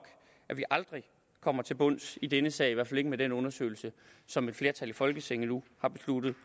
at vi aldrig kommer til bunds i denne sag i hvert fald ikke med den undersøgelse som et flertal i folketinget nu har besluttet